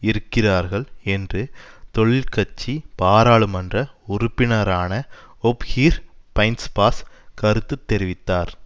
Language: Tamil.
இருக்கிறார்கள் என்று தொழிற்கட்சி பாராளுமன்ற உறுப்பினரான ஓப்ஹீர் பைன்ஸ்பாஸ் கருத்து தெரிவித்தார்